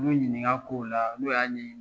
N'l y'u ɲinik'a kow la n'u y'a ɲɛ ɲini.